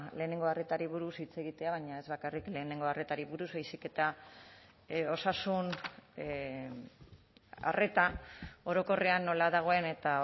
lehenengo arretari buruz hitz egitea baina ez bakarrik lehenengo arretari buruz baizik eta osasun arreta orokorrean nola dagoen eta